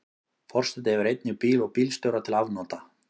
Forseti hefur einnig bíl og bílstjóra til afnota.